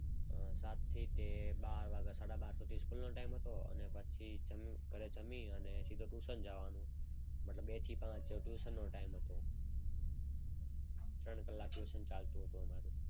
અમ સાથી તે બારથી સાડા બાર વાગ્યા સુધી સ્કૂલ નો ટાઈમ હતો. અને પછી ઘરે જમી અને સીધા ટ્યુશન જવાનું મતલબ બે થી પાંચ ટ્યુશન નો ટાઈમ હતો. ત્રણ કલાક ટ્યુશન ચાલતું હતું અમારો.